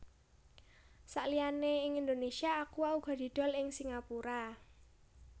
Saliyane ing Indonesia Aqua uga didol ing Singapura